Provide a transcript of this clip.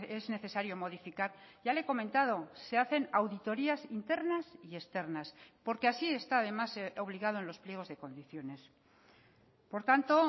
es necesario modificar ya le he comentado se hacen auditorías internas y externas porque así está además obligado en los pliegos de condiciones por tanto